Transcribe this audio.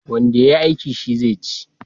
Wanda ya yi aiki, shi zai ci.